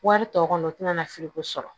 Wari tɔ kɔnɔ o tɛna na fili ko sɔrɔ